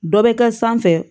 Dɔ bɛ kɛ sanfɛ